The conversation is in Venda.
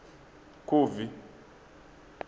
khubvi